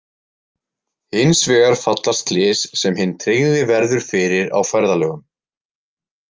Hins vegar falla slys sem hinn tryggði verður fyrir á ferðalögum.